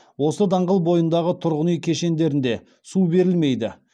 осы даңғыл бойындағы тұрғын үй кешендерінде су берілмейді